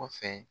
Kɔfɛ